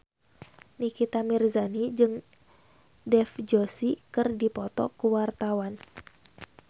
Nikita Mirzani jeung Dev Joshi keur dipoto ku wartawan